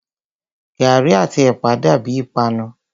Gàrí àti ẹ̀pà dàbíi ìpanu.